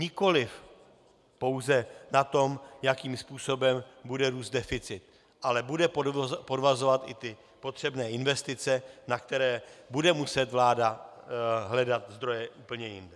Nikoliv pouze na tom, jakým způsobem bude růst deficit, ale bude podvazovat i ty potřebné investice, na které bude muset vláda hledat zdroje úplně jinde.